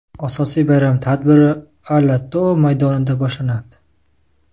Asosiy bayram tadbiri Ala-Too maydonida boshlanadi.